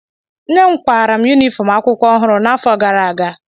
nne m kwara m yunifọm akwụkwọ ọhụrụ n'afọ gara aga